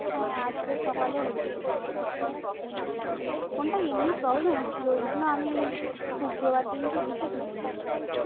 হ্যাঁ আজকে সকালে হচ্ছিলো ফোনটা এমনি problem হচ্ছিলো ঐজন্য আমি শুক্রবার দিনকে reset মেরে নিয়েছি